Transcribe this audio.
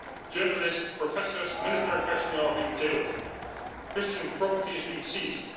Journalists, professors, military personnel are being jailed. Christian property is being seized.